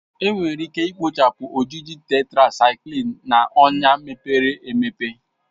Enwere ike ikpochapụ ojiji Tetrasaiklin na ọnya mepere emepe